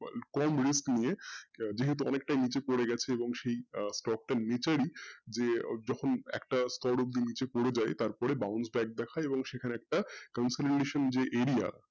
কম risk নিয়ে যেহেতু অনেকটাই নীচে পড়ে গেছে এবং সেই stock টা নীচেরই যে যখন একটা স্তর অব্দি নীচে পড়ে যায় তারপরে bounce back দেখায় তারপরে সেখানে একটা যে একটা area